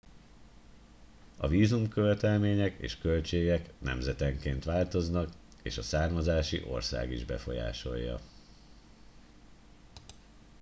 a vízumkövetelmények és költségek nemzetenként változnak és a származási ország is befolyásolja